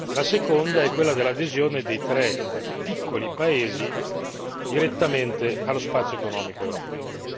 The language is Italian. la seconda è quella dell'adesione dei tre piccoli paesi direttamente allo spazio economico europeo.